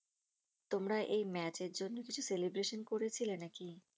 তোমরা এই match এর জন্য কিছু celebration করেছিলে নাকি?